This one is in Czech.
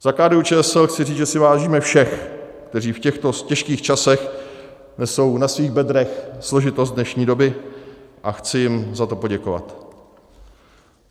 Za KDU-ČSL chci říct, že si vážíme všech, kteří v těchto těžkých časech nesou na svým bedrech složitost dnešní doby, a chci jim za to poděkovat.